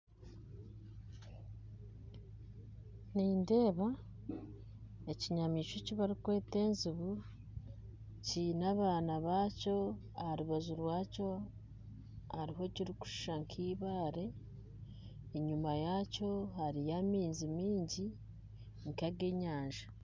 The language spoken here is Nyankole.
Nindeeba ekinyamaishwa eki barikweta ejuubu kiine abaana baakyo aharubaju rwakyo hariho ekirikushuusha nk'ibaare enyuma yaakyo hariyo amaizi maingi nka ag'enyanja